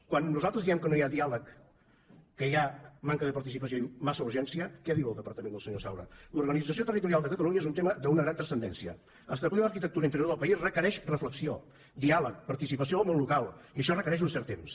quan nosaltres diem que no hi ha diàleg que hi ha manca de participació i massa urgència què diu el departament del senyor saura l’organització territorial de catalunya és un tema d’una gran transcendència establir l’arquitectura interior del país requereix reflexió diàleg participació del món local i això requereix un cert temps